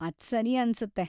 ಅದ್‌ ಸರಿ ಅನ್ಸುತ್ತೆ.